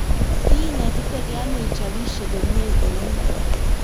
kiinetitegei ano ichopisie komye kou ni?